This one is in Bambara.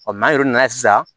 n'an yɛrɛ nana sisan